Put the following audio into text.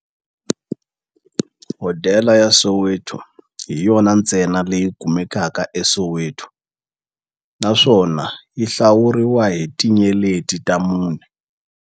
Hodela ya Soweto hi yona ntsena leyi kumekaka eSoweto, naswona yi hlawuriwa hi tinyeleti ta mune.